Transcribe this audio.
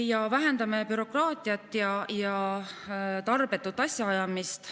Me vähendame bürokraatiat ja tarbetut asjaajamist.